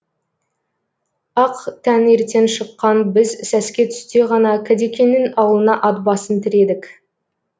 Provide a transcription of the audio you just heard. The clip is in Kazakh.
ақ таңертең шыққан біз сәске түсте ғана кәдекеңнің ауылына ат басын тіредік